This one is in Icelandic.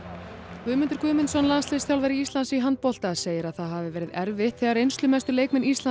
Guðmundur Guðmundsson landsliðsþjálfari Íslands í handbolta segir að það hafi verið erfitt þegar reynslumestu leikmenn Íslands